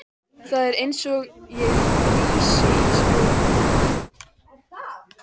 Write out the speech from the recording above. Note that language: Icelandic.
Það var einsog ég frysi í sporunum.